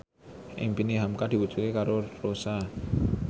impine hamka diwujudke karo Rossa